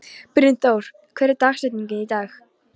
Brynþór, hver er dagsetningin í dag?